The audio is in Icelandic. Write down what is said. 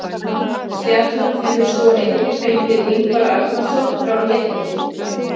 Stjarnan hefur svo einnig fengið Ingvar Arnarson frá Létti.